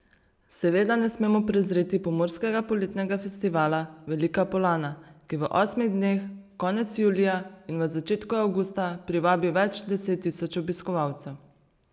Seveda ne smemo prezreti Pomurskega poletnega festivala Velika Polana, ki v osmih dneh konec julija in v začetku avgusta privabi več deset tisoč obiskovalcev.